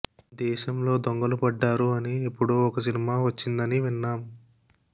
దేశంలో దొంగలు పడ్డారు అని ఎప్పుడో ఓ సినిమా వచ్చిందని విన్నాం